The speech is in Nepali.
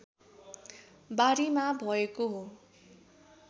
बारीमा भएको हो